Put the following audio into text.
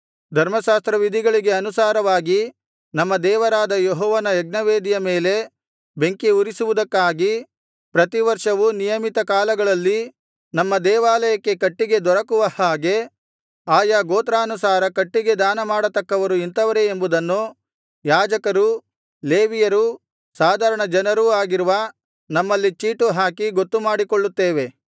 ಧರ್ಮಶಾಸ್ತ್ರವಿಧಿಗಳಿಗೆ ಅನುಸಾರವಾಗಿ ನಮ್ಮ ದೇವರಾದ ಯೆಹೋವನ ಯಜ್ಞವೇದಿಯ ಮೇಲೆ ಬೆಂಕಿ ಉರಿಸುವುದಕ್ಕಾಗಿ ಪ್ರತಿ ವರ್ಷವೂ ನಿಯಮಿತ ಕಾಲಗಳಲ್ಲಿ ನಮ್ಮ ದೇವಾಲಯಕ್ಕೆ ಕಟ್ಟಿಗೆ ದೊರಕುವ ಹಾಗೆ ಆಯಾ ಗೋತ್ರಾನುಸಾರ ಕಟ್ಟಿಗೆ ದಾನ ಮಾಡತಕ್ಕವರು ಇಂಥವರೇ ಎಂಬುದನ್ನು ಯಾಜಕರೂ ಲೇವಿಯರೂ ಸಾಧಾರಣ ಜನರೂ ಆಗಿರುವ ನಮ್ಮಲ್ಲಿ ಚೀಟು ಹಾಕಿ ಗೊತ್ತುಮಾಡಿಕೊಳ್ಳುತ್ತೇವೆ